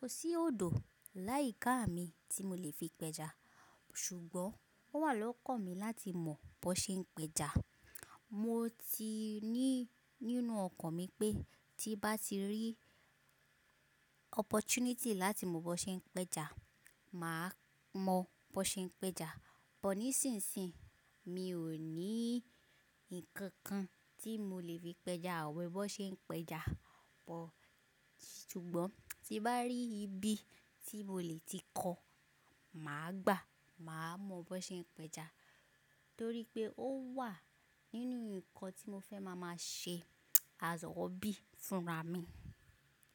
Kò sí òdò láì ká mi tí mo lè fi pẹja, ṣùgbọ́n ó wà lọ́kan mi láti mọ̀ bó ṣe ń pẹja. Mo ti ní nínú ọkàn mi pé tí bá ti rí opportunity láti mọ̀ bó ṣe ń pẹja, màá mọ̀ bó ṣe ń pẹja. Bọ̀ ní ìsinsìnyí mi ò ní ǹkan kan tí mo lè fi pẹja àwẹ̀ bó ṣe ń pẹja bọ̀. Ṣùgbọ́n tí bá rí ibi tí mo lè ti kọ́, màá gbàá, màá mọ̀ bó ṣe ń pẹja. Torí pé ó wà nínú ǹkan tí mo fẹ́ máa máa ṣe azọ̀ọ́ bí fúnra mi.